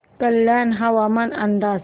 कल्याण हवामान अंदाज